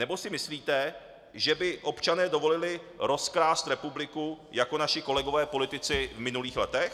Nebo si myslíte, že by občané dovolili rozkrást republiku jako naši kolegové politici v minulých letech?